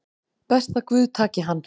Best að guð taki hann